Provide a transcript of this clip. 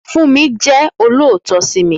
Fúnmi jẹ́ olóòótọ́ sí mi